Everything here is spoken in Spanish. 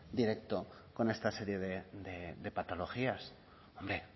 directo con esta serie de patologías hombre